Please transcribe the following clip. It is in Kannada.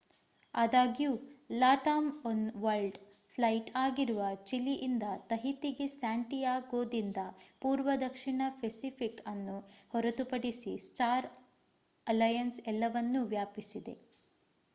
ಆದಾಗ್ಯೂ ಲಾಟಾಮ್ ಒನ್ ವರ್ಲ್ಡ್ ಫ್ಲೈಟ್ ಆಗಿರುವ ಚಿಲಿ ಇಂದ ತಹಿತಿಗೆ ಸ್ಯಾಂಟಿಯಾಗೋದಿಂದ ಪೂರ್ವ ದಕ್ಷಿಣ ಪೆಸಿಫಿಕ್ ಅನ್ನು ಹೊರತುಪಡಿಸಿ ಸ್ಟಾರ್ ಅಲಯನ್ಸ್ ಎಲ್ಲವನ್ನೂ ವ್ಯಾಪಿಸಿದೆ